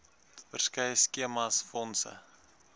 verskeie skemas fondse